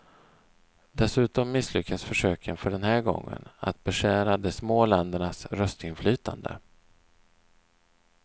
Dessutom misslyckades försöken för den här gången att beskära de små ländernas röstinflytande.